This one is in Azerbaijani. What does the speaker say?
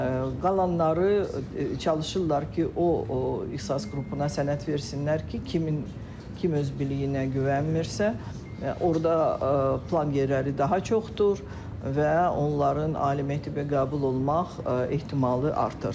Qalanları çalışırlar ki, o ixtisas qrupuna sənəd versinlər ki, kimin kim öz biliyinə güvənmirsə, orda plan yerləri daha çoxdur və onların ali məktəbə qəbul olma ehtimalı artır.